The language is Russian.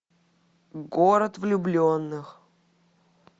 город влюбленных